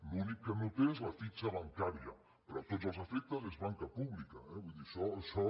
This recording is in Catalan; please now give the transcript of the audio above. l’únic que no té és la fitxa bancària però a tots els efectes és banca pública eh vull dir això